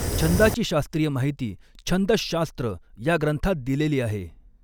छंदाची शास्त्रीय माहिती छन्दःशास्त्र या ग्रंथात दिलेली आहे.